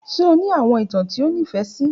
Ṣe o ni awọn itan ti o nifẹ si?